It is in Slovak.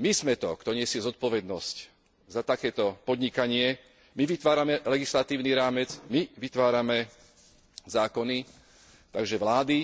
My sme to, kto nesie zodpovednosť za takéto podnikanie, my vytvárame legislatívny rámec, my vytvárame zákony, takže vlády,